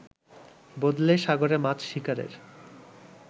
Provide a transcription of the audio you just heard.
বদলে সাগরে মাছ শিকারের